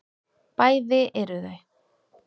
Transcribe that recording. Bæði eru þau